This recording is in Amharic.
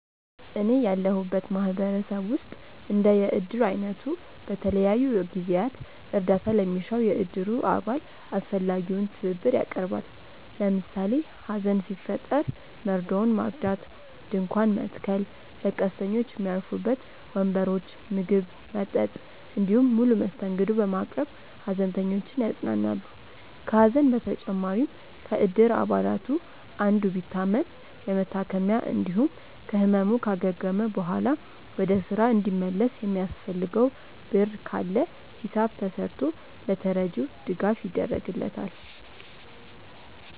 እኔ ያለሁበት ማህበረሰብ ውስጥ እንደ የእድር አይነቱ በተለያዩ ጊዜያት እርዳታ ለሚሻው የእድሩ አባል አስፈላጊውን ትብብር ያቀርባል። ለምሳሌ ሀዘን ሲፈጠር መርዶውን ማርዳት፣ ድንኳን መትከል፣ ለቀስተኞች ሚያርፉበት ወንበሮች፣ ምግብ፣ መጠጥ እንዲሁም ሙሉ መስተንግዶ በማቅረብ ሃዘንተኞችን ያጽናናሉ። ከሀዘን በተጨማሪም ከእድር አባላቱ አንዱ ቢታመም የመታከሚያ እንዲሁም ከህመሙ ካገገመ በኋላ ወደ ስራ እንዲመለስ የሚያስፈልገው ብር ካለ ሂሳብ ተስርቶ ለተረጂው ድጋፍ ይደረግለታል።